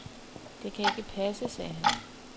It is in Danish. Det kan ikke passe, sagde han.